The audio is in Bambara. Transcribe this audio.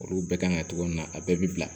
Olu bɛɛ kan ka togo min na a bɛɛ bi bila